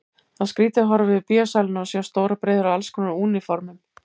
Það var skrýtið að horfa yfir bíósalina og sjá stórar breiður af allskonar úniformum.